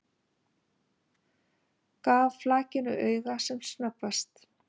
Gaf flakinu auga sem snöggvast.